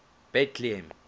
betlehem